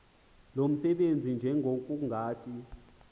lo msebenzi njengokungathi